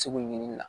Segu ɲinini na